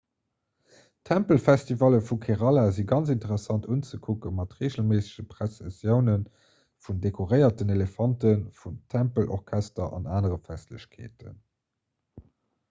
d'tempelfestivalle vu kerala si ganz interessant unzekucken mat reegelméissege pressessioune vun dekoréierten elefanten vum tempelorchester an aner festlechkeeten